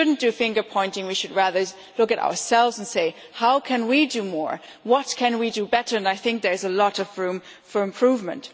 So we should not be finger pointing, we should instead look at ourselves and see how can we do more and what can we do better, and I think there is a lot of room for improvement.